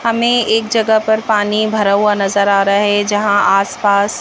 हमें एक जगह पर पानी भरा हुआ नजर आ रहा है जहां आसपास--